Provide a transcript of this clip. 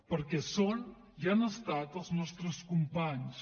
perquè són i han estat els nostres companys